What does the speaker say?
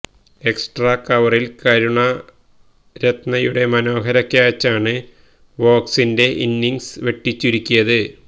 extra കവറില് കരുണരത്നയുടെ മനോഹര ക്യാച്ചാണ് വോഗ്സിന്റെ ഇന്നിങ്സ് വെട്ടിചുരുക്കിയത്